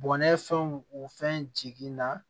Bɔnɛ fɛnw o fɛn jigi na